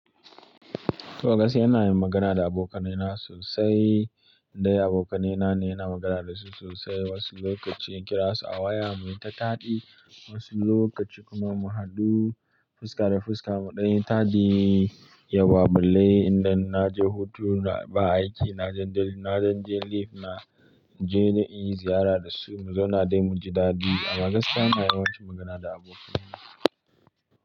To a gaskiya ina yin magana da abokanai na sosai. Indai abokanaina ina magana dasu sosai. Wasu lokaci in kira su a waya muyi ta taɗi, wasu lokaci kuma mu haɗu fuska da fuska mu ɗanyi taɗi. Yauwa balle idan na je hutu da ba aiki, na jan leaf na je na inyi ziyara dasu mu zauna dai muji daɗi. Wasu lokaci in kira su a waya muyi ta taɗi, wasu lokaci kuma mu haɗu fuska da fuska mu ɗanyi taɗi.